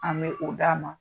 An bi o d'a ma.